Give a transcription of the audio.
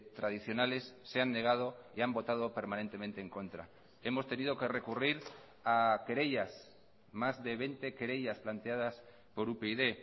tradicionales se han negado y han votado permanentemente en contra hemos tenido que recurrir a querellas más de veinte querellas planteadas por upyd